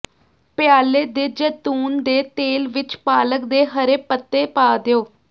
ਪਿਆਲੇ ਦੇ ਜੈਤੂਨ ਦੇ ਤੇਲ ਵਿੱਚ ਪਾਲਕ ਦੇ ਹਰੇ ਪੱਤੇ ਪਾ ਦਿਓ